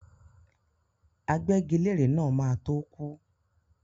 Agbẹ́gilére náà máa to kú.